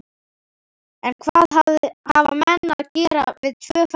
En hvað hafa menn að gera við tvö fellihýsi?